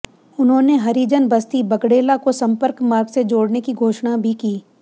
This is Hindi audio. उन्होंने हरिजन बस्ती बगड़ेला को सम्पर्क मार्ग से जोड़ने की घोषणा भी की